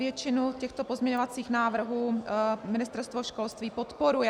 Většinu těchto pozměňovacích návrhů Ministerstvo školství podporuje.